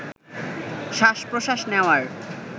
শ্বাস-প্রশ্বাস নেওয়ার